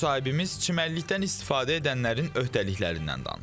Müsahibimiz çimərlikdən istifadə edənlərin öhdəliklərindən danışdı.